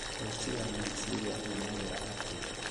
ũici wa meciria umagĩra atĩa